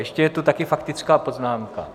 Ještě je tu taky faktická poznámka.